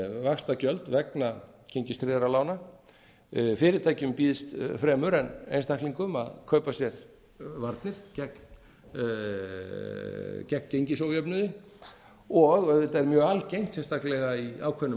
vaxtagjöld vegna gengistryggðra lána fyrirtækjum býðst fremur en einstaklingum að kaupa sér varnir gegn gengisójöfnuði og auðvitað er mjög algeng sérstaklega í ákveðnum